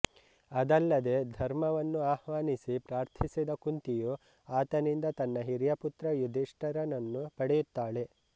ಅದಲ್ಲದೇ ಧರ್ಮವನ್ನು ಆಹ್ವಾನಿಸಿ ಪ್ರಾರ್ಥಿಸಿದ ಕುಂತಿಯು ಆತನಿಂದ ತನ್ನ ಹಿರಿಯ ಪುತ್ರ ಯುಧಿಷ್ಠರನನ್ನು ಪಡೆಯುತ್ತಾಳೆ